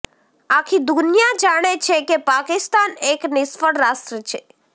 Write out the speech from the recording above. આખી દુનિયા જાણે છે કે પાકિસ્તાન એક નિષ્ફ્ળ રાષ્ટ્ર છે